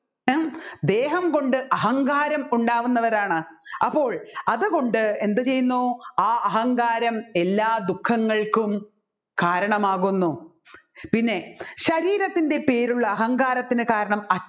ദേഹം കൊണ്ട് അഹങ്കാരം ഉണ്ടാവുന്നവരാണ് അപ്പോൾ അതുകൊണ്ട് എന്ത് ചെയ്യുന്നു ആ അഹങ്കാരം എല്ലാ ദുഃഖങ്ങൾക്കും കാരണമാകുന്നു പിന്നെ ശരീരത്തിൻറെ പേരുള്ള അഹങ്കാരത്തിന് കാരണം